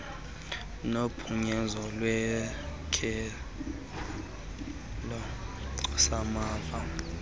nophunyezo lwesakhelo samava